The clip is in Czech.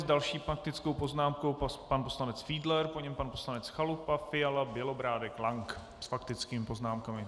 S další faktickou poznámkou pan poslanec Fiedler, po něm pan poslanec Chalupa, Fiala, Bělobrádek, Lank s faktickými poznámkami.